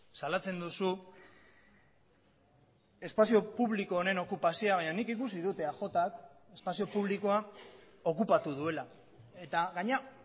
salatzen duzu espazio publiko honen okupazioa baina nik ikusi dut eajk espazio publikoa okupatu duela eta gainera